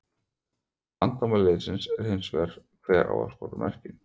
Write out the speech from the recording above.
Vandamál liðsins er hins vegar hver á að skora mörkin?